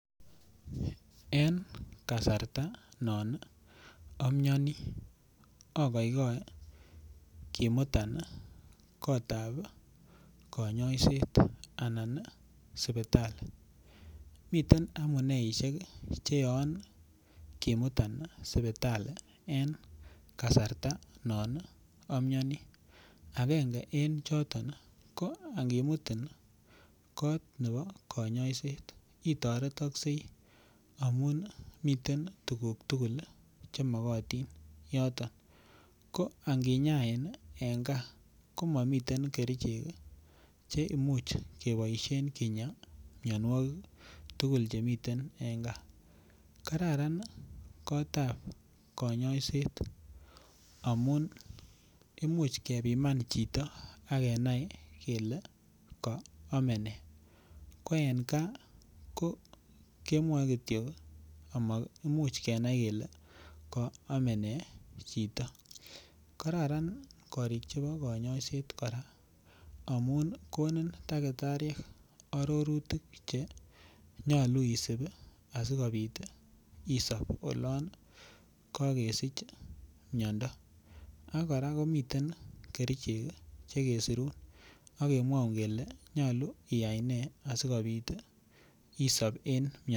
En kasarta non imioni okoigoe kimuta nii kotabi konyoiset anan sipitali miten amuneishek kii cheyoon kimutan sipitali en kasarta no imioni agenge en choton ko akimutin kot nebo konyoiset itoretokse amun nii miten tukuk tukul lii chemokotin yoton ko akinyain en gaa ko momiten kerichek cheimuch keboishen Kiya mionwokik tukuk chemiten en gaa kararan kotab konyoiset amun imuch kepiman chito ak kenai kele kiome nee ko en gaa ko kemwoe kityok amoimuch kenai kele ko omenee chito. Kararan korik chebo konyoiset Koraa amun konin takitariek ororutik chenyolu isib asikopit is on olon kokesich miondo ak Koraa komiten Kerichek kii chekesirun ak kemwoun kele nyolu iyai nee sikopit isib en miondo.